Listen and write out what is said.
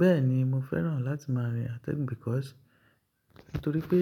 Bẹ́ẹ̀ni, mo fẹ́ràn láti máa rin atẹ́gùn because nítorí pé